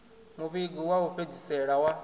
muvhigo wa u fhedzisela wa